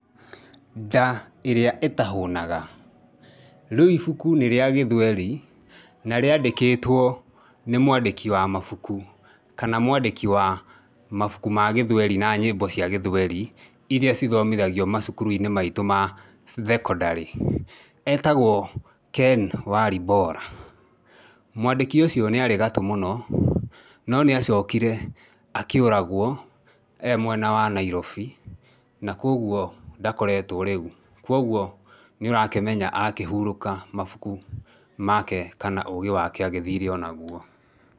Nda ĩrĩa ĩtahũnaga. Rĩu ibuku nĩ rĩa gĩthweri, na rĩandĩkĩtwo nĩ mwandĩki wa mabuku kana mwandĩki wa mabuku ma gĩthweri na nyĩmbo cia gĩthweri, irĩa cithimithagio macukuru-inĩ maitũ thekondarĩ. Etagwo Ken Walibora. Mwandĩki ũcio nĩ arĩ gatũ mũno, no nĩ acokire akĩũragwo ee mwena wa Nairobi, na kũguo ndakoretwo rĩu. Kũguo nĩ ũrakĩmenya akĩhurũka mabuku make kana ũũgĩ wake agĩthire onaguo.